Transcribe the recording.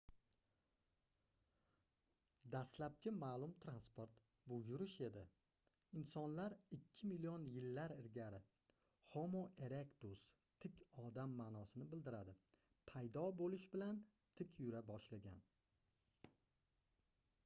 dastlabki ma'lum transport — bu yurish edi insonlar ikki million yillar ilgari homo erectus tik odam ma'nosini bildiradi paydo bo'lishi bilan tik yura boshlagan